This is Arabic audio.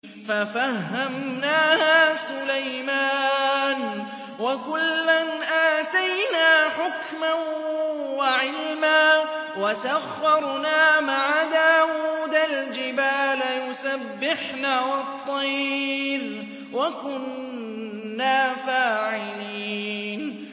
فَفَهَّمْنَاهَا سُلَيْمَانَ ۚ وَكُلًّا آتَيْنَا حُكْمًا وَعِلْمًا ۚ وَسَخَّرْنَا مَعَ دَاوُودَ الْجِبَالَ يُسَبِّحْنَ وَالطَّيْرَ ۚ وَكُنَّا فَاعِلِينَ